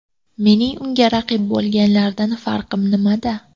Mening unga raqib bo‘lganlardan farqim nimada?